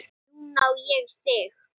Heldur að sé rétt.